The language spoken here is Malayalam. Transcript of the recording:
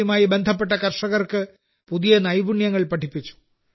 യുമായി ബന്ധപ്പെട്ട കർഷകർക്ക് പുതിയ നൈപുണ്യങ്ങൾ പഠിപ്പിച്ചു